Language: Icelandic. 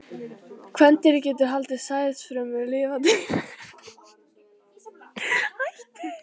Kvendýrið getur haldið sæðisfrumunum lifandi í nokkrar vikur, eða þar til eggin ná fullum þroska.